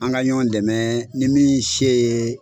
An ka ɲɔn dɛmɛ ni min se ye